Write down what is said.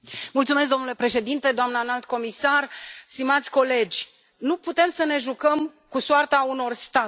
Domnule președinte, doamnă Înalt Reprezentant, stimați colegi, nu putem să ne jucăm cu soarta unor state.